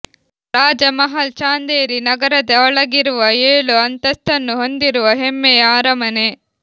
ರಾಜ ಮಹಲ್ ಚಾಂದೇರಿ ನಗರದ ಒಳಗಿರುವ ಏಳು ಅಂತಸ್ಥನ್ನು ಹೊಂದಿರುವ ಹೆಮ್ಮೆಯ ಅರಮನೆ